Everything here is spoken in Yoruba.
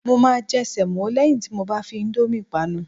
Mo máa jẹ sẹ̀mọ́ lẹ́yìn tí mo bá fi íńdómì panu.